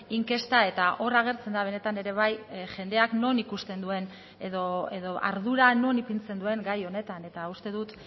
inkesta eta hor agertzen da benetan ere bai jendeak non ikusten duen edo ardura non ipintzen duen gai honetan eta uste dut